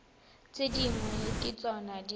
tse dingwe ke tsona di